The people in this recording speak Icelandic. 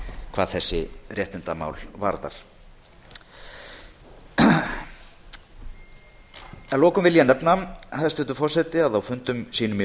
hvað þessi réttindamál varð ég vil að lokum nefna hæstvirtur forseti að á fundum sínum í